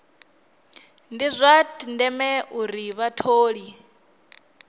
ndi zwa ndeme uri vhatholi